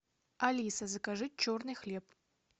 алиса закажи черный хлеб